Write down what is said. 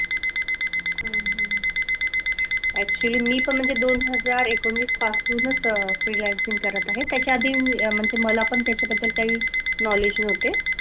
Actually मी पण म्हणजे दोन हजार एकोणीसपासूनच freelancing करत आहे. त्याच्या आधी मी म्हणजे मलापण त्याच्याबद्दल काही knowledge नव्हते.